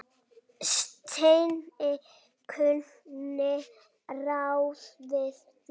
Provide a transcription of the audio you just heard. Steini kunni ráð við því.